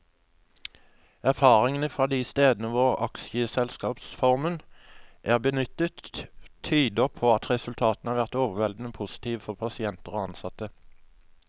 Erfaringene fra de stedene hvor aksjeselskapsformen er benyttet, tyder på at resultatene har vært overveldende positive for pasienter og ansatte.